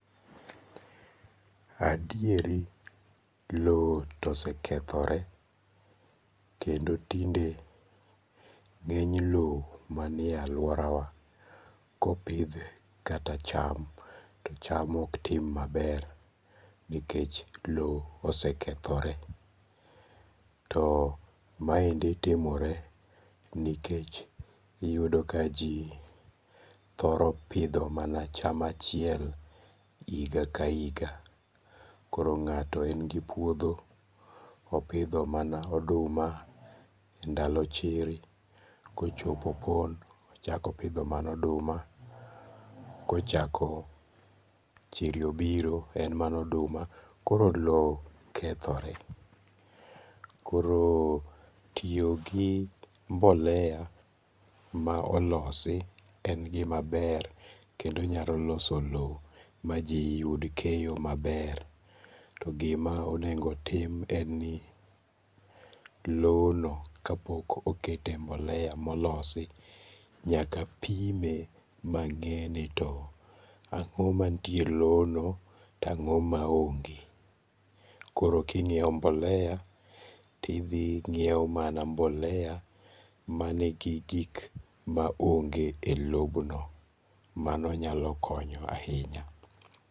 Adieri lowo to osekethore, kendo tinde nge'ny lowo manie e aluorawa kopidhe kata cham to cham ok tim maber nikech lowo osekethore. too maendi timore nikech iyudo ka ji thoro pitho mana cham achiel hinga ka higa, koro nga'to en gi puodho opidho mana oduma ndalo chiri kochopo opon ochako opidho mana oduma kochako chiri obiro en mana oduma, koro lowo kethore, koro tiyogi mbolea ma olosi en gima ber kendo onyalo loso lowo maji yud keyo maber to gima onego tim en ni lowono ka pok okete mbolea molosi nyaka pime mange'ni to ango' ma nitiere lono to ango' ma onge', kooro kinyiewo mbolea tithi nyiewo mana mbolea manigi gik ma onge e lobno mano nyalo konyo ahinya.